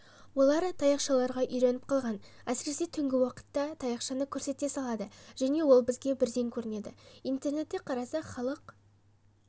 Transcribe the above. олар таяқшаларға үйреніп қалған әсіресе түнгі уақытта таяқшаныкөрсете салады және ол бізге бірден көрінеді интернеттеқарасақ халық